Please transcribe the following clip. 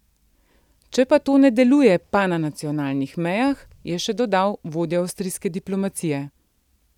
Če pa to ne deluje, pa na nacionalnih mejah, je še dodal vodja avstrijske diplomacije.